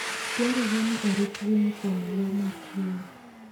Dwarore ni orit winy kuom le ma kwiny.